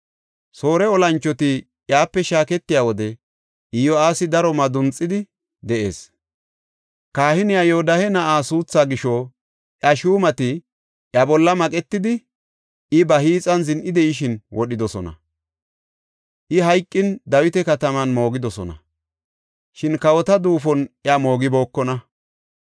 Soore olanchoti iyape shaaketiya wode Iyo7aasi daro madunxidi de7ees. Kahiniya Yoodahe na7aa suuthaa gisho iya shuumati iya bolla maqetidi, I ba hiixan zin7idashin wodhidosona. I hayqin Dawita kataman moogidosona; shin kawota duufon iya moogibookonna.